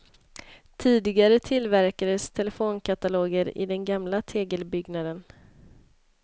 Tidigare tillverkades telefonkataloger i den gamla tegelbyggnaden.